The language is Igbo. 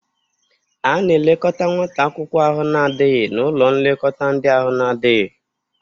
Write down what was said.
A na-elekọta nwata akwụkwọ ahụ na-adaghị n'ụlọ nlekọta ndị ahụ na-adịghị.